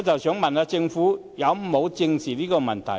請問政府有否正視這問題呢？